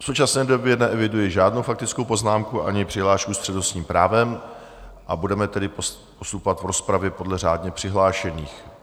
V současné době neeviduji žádnou faktickou poznámku ani přihlášku s přednostním právem, a budeme tedy postupovat v rozpravě podle řádně přihlášených.